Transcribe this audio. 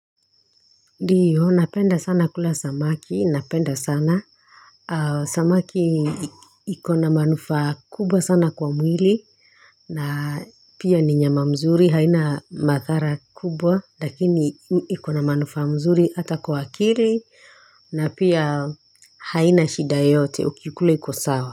Nfiyo, napenda sana kula samaki, napenda sana, samaki ikona manufaa kubwa sana kwa mwili, na pia ni nyama mzuri, haina mathara kubwa, lakini ikona manufaa mzuri hata kwa akili, na pia haina shida yoyote ukiikula iko sawa.